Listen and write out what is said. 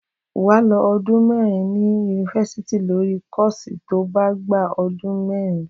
Wà ló ọdún mẹrin ni unífàsítì lórì kọ́ọsi tọ ba gba odun mẹrin